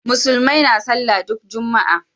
Musulmai na sallah ne duk juma'a.